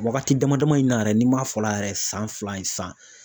Wagati dama dama in na yɛrɛ n'i m'a fɔ la yɛrɛ san fila ye san